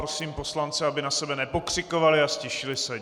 Prosím poslance, aby na sebe nepokřikovali a ztišili se.